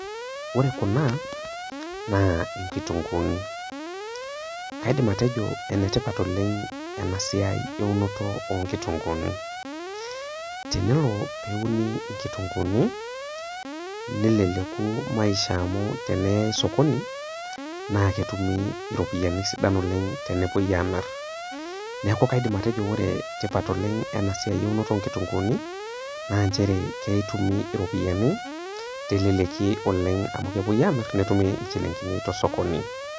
Ore Kuna naa inkutunguuni, naa kaidim atejo ene tipat oleng' ena siai einoto o nkitunguuni tenelo peuni inkutunguuni, neleleku maisha amu tenenyai sokoni, naa kepuoi atum iropiani kumok oleng'. Neaku kaidim atejo enetipat oleng' ena siai einoto o nkitunguuni naa nchere etumi iropiani teleleki oleng' amu kepuoi amir netumi inchilingini tosokoni.